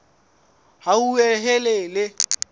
hauhelele